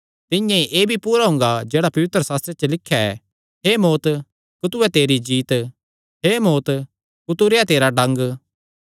तिंआं ई एह़ भी पूरा हुंगा जेह्ड़ा पवित्रशास्त्रे च लिख्या ऐ हे मौत्त कुत्थू ऐ तेरी जीत्त हे मौत्त कुत्थू रेह्आ तेरा डंग